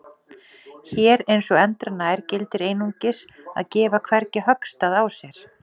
Hér eins og endranær gildir einungis að gefa hvergi höggstað á sér.